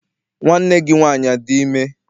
Nwanne gị nwaanyị adị ime?